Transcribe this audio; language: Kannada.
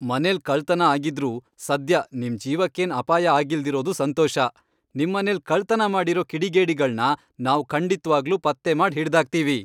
ಮನೆಲ್ ಕಳ್ತನ ಆಗಿದ್ರೂ ಸದ್ಯ ನಿಮ್ ಜೀವಕ್ಕೇನ್ ಅಪಾಯ ಆಗಿಲ್ದಿರೋದು ಸಂತೋಷ, ನಿಮ್ಮನೆಲ್ ಕಳ್ತನ ಮಾಡಿರೋ ಕಿಡಿಗೇಡಿಗಳ್ನ ನಾವ್ ಖಂಡಿತ್ವಾಗ್ಲೂ ಪತ್ತೆ ಮಾಡ್ ಹಿಡ್ದಾಕ್ತೀವಿ.